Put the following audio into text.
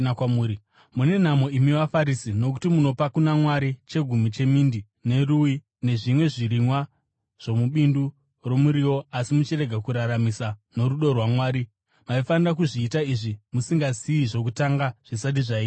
“Mune nhamo imi vaFarisi, nokuti munopa kuna Mwari chegumi chemindi, nerui nezvimwe zvirimwa zvomubindu romuriwo, asi muchirega kururamisira, norudo rwaMwari. Maifanira kuzviita izvi musingasiyi zvokutanga zvisati zvaitwa.